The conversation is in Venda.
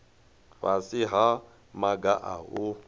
fhasi ha maga a u